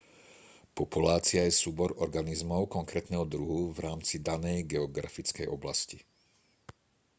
populácia je súbor organizmov konkrétneho druhu v rámci danej geografickej oblasti